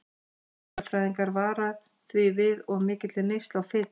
Næringarfræðingar vara því við of mikilli neyslu á fitu.